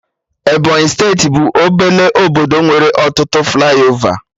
Ebọnyị steeti bụ obele obodo nwere ọtụtụ flaiova